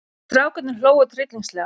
Strákarnir hlógu tryllingslega.